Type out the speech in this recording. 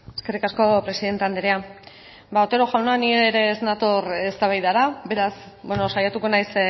eskerrik asko presidente anderea ba otero jauna ni ere ez nator eztabaidara beraz saiatuko naiz